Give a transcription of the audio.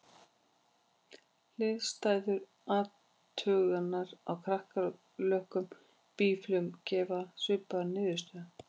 Hliðstæðar athuganir á kakkalökkum og býflugum gefa svipaðar niðurstöður.